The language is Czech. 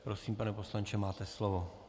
Prosím, pane poslanče, máte slovo.